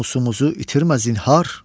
namusumuzu itirmə zinhar.